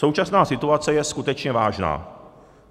Současná situace je skutečně vážná.